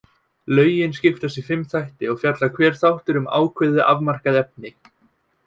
Lögin skiptast í fimm þætti og fjallar hver þáttur um ákveðið, afmarkað efni.